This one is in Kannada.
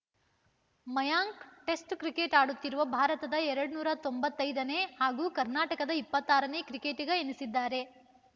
ಮಯಾಂಕ್‌ ಟೆಸ್ಟ್‌ ಕ್ರಿಕೆಟ್‌ ಆಡುತ್ತಿರುವ ಭಾರತದ ಇನ್ನೂರ ತೊಂಬತ್ತೈದನೇ ಹಾಗೂ ಕರ್ನಾಟಕದ ಇಪ್ಪತ್ತಾರನೇ ಕ್ರಿಕೆಟಗ ಎನಿಸಿದ್ದಾರೆ